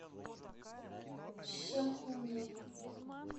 шахуньи